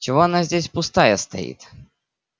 чего она здесь пустая стоит